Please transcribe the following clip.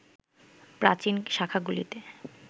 প্রাচীন শাখাগুলিতে